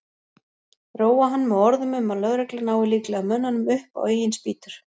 Róa hann með orðum um að lögreglan nái líklega mönnunum upp á eigin spýtur.